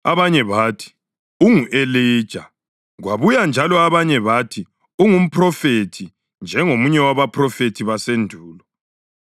Abanye bathi, “Ungu-Elija.” Kwabuye njalo abanye bathi, “Ungumphrofethi, njengomunye wabaphrofethi basendulo.”